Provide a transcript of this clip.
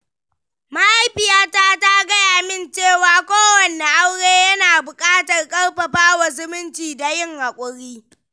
Mahaifiyata ta gaya min cewa kowane aure yana buƙatar ƙarfafa zumunci da yin hakuri.